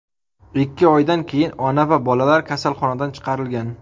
Ikki oydan keyin ona va bolalar kasalxonadan chiqarilgan.